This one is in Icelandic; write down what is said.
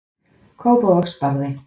Kópavogsbarði